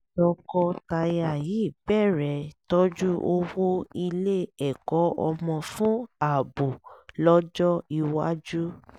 tọkọtaya yìí bẹ̀rẹ̀ tọ́jú owó ilé ẹ̀kọ́ ọmọ fún ààbò lọ́jọ́ iwájú